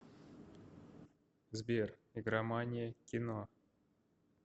сбер игромания кино